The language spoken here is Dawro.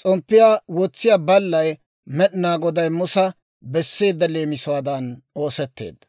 S'omppiyaa wotsiyaa ballay Med'inaa Goday Musa besseedda leemisuwaadan oosetteedda.